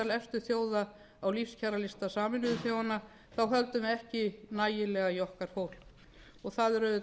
efstu þjóða á lífskjaralista sameinuðu þjóðanna þá höldum við ekki nægilega í okkar fólk og það